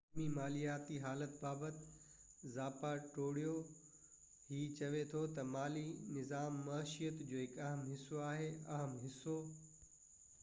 عالمي مالياتي حالت بابت زاپاٽيرو هي چوي ٿو تہ مالي نظام معيشيت جو هڪ حصو آهي اهم حصو